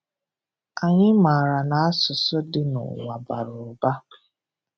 Anyị maara na asụsụ dị nụwa bara ụba.